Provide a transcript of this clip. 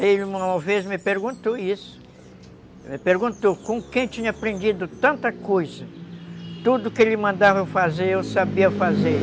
Ele uma vez me perguntou isso, me perguntou com quem tinha aprendido tanta coisa, tudo que ele mandava eu fazer, eu sabia fazer.